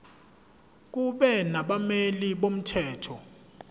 kube nabameli bomthetho